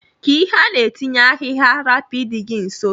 Ka ihe ana etinye ahigha rapu idi gi nso.